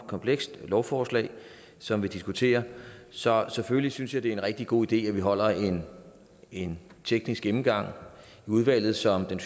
komplekst lovforslag som vi diskuterer så selvfølgelig synes jeg det er en rigtig god idé at vi holder en en teknisk gennemgang i udvalget som den